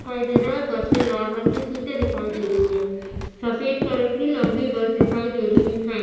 दिखाई दे रहा है। बस मे लाल रंग का सीटे दिखाई दे रही है। सफ़ेद कलर की लम्बी बस दिखाई दे रही है।